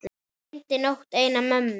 Dreymdi nótt eina mömmu.